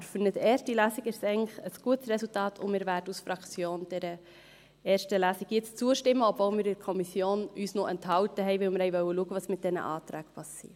Aber für eine erste Lesung ist es eigentlich ein gutes Resultat, und wir werden dieser ersten Lesung als Fraktion jetzt zustimmen, obwohl wir uns in der Kommission noch enthalten haben, weil wir sehen wollten, was mit diesen Anträgen passiert.